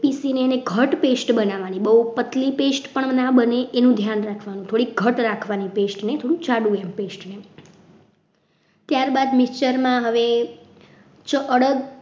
પીસીને એને ઘટ્ટ pest બનાવવાની બહુ પતલી pest ના બને એનું ધ્યાન રાખવાનું થોડી ઘટ રાખવાની pest ને ત્યારબાદ mixture માં હવે અડદ